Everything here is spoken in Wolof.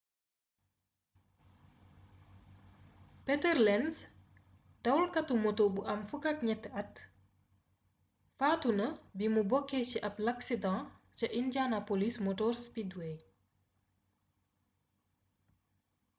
peter lenz dawalkatu moto bu am 13 at faatu na bimu bokkee ci ab laksidaŋ ca indianapolis motor speedway